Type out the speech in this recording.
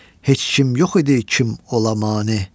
Heç kim yox idi kim ola mane.